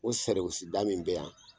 O sariwisi da min bɛ yan